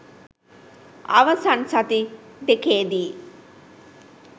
අවසන් සති දෙකේදී